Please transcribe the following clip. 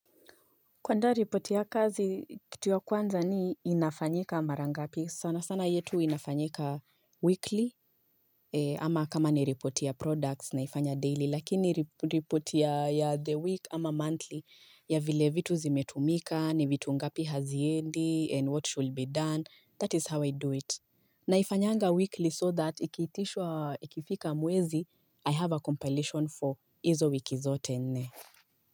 Kuandaa ripoti ya kazi kitu ya kwanza ni inafanyika mara ngapi sana sana yetu inafanyika weekly ama kama ni ripoti ya products naifanya daily lakini ripoti ya the week ama monthly ya vile vitu zimetumika ni vitu ngapi haziendi and what should be done that is how I do it. Naifanyanga weekly so that ikiitishwa ikifika mwezi I have a compilation for hizo wiki zote nne.